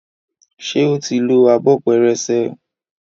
ṣe o tí ló Abọ́ pẹrẹsẹ?